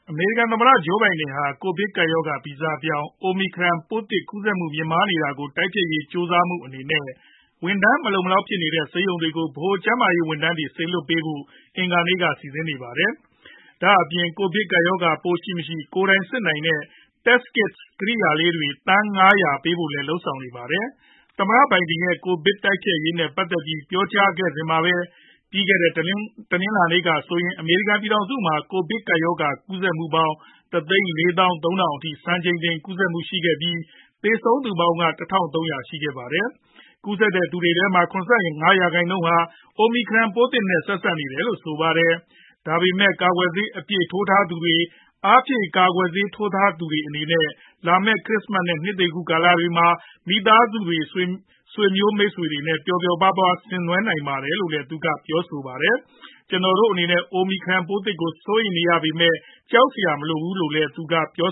အမေရိကန် သမ္မတ ဂျိုးဘိုင်ဒန်ဟာ ကိုဗစ်ကပ်ရောဂါ ဗီဇပြောင်း Omicron ပိုးသစ် ကူးစက်မှုမြင့်မားလာတာကို တိုက်ဖျက်ရေး ကြိုးစားမှုအသစ်အနေနဲ့ ဝန်ထမ်းမလုံမလောက်ဖြစ်နေတဲ့ ဆေးရုံတွေကို ဗဟိုကျန်းမာရေးဝန်ထမ်းတွေ စေလွှတ်ပေးဖို့ အင်္ဂါနေ့က စီစဉ်နေပါတယ်။ ဒါအပြင် ကိုဗစ်ကပ်ရောဂါပိုးရှိမရှိ ကိုယ်တိုင်စစ်နိုင်တဲ့ Test Kits ကရိယာလေးတွေ သန်း ၅ဝဝပေးပို့ဖို့လည်း လုပ်ဆောင်နေပါတယ်။ သမ္မတဘိုင်ဒန်ရဲ့ ကိုဗစ်တိုက်ဖျက်ရေး နဲ့ ပတ်သက်ပြီးပြောကြားခဲ့စဉ်မှာပဲ ပြီးခဲ့တဲ့ တနင်္လာနေ့က ဆိုရင် အမေရိကန် ပြည်ထောင်စုမှာ ကိုဗစ်ကပ်ရောဂါကူးစက်မှုပေါင်း ၁၄ ၃ဝဝဝ အထိ စံချိန်တင်ကူးစက်မှုရှိခဲ့ပြီး သေဆုံးသူပေါင်းက ၁ ၃ဝဝရှိခဲ့ပါတယ်။ ကူးစက်တဲ့သူတွေထဲမှာ ၇၅ ရာခိုင်နှုန်းဟာ Omicron ပိုးသစ်နဲ့ ဆက်စပ်နေတယ်လို့ဆိုပါတယ်။ ဒါပေမဲ့ ကာကွယ်ဆေးအပြည့်ထိုးထားသူတွေ၊ အားဖြည့် ကာကွယ်ဆေးထိုးထားသူတွေအနေနဲ့ လာမဲ့ ခရစ်စမတ် နဲ့ နှစ်သစ်ကာလတွေမှာ မိသားစုတွေ မိတ်ဆွေတွေနဲ့ ပျော်ပျော်ပါးပါး ဆင်နွှဲနိုင်ပါတယ်လို့လည်း ပြောပါတယ်။ ကျနော်တို့အနေနဲ့ Omicron ပိုးသစ်ကို စိုးရိမ်ရပေမယ် ကြောက်စရာမလိုပါဘူးလို့လည်း သူကပြော